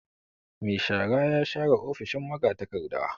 Mai shara ya share ofishin magatakarda.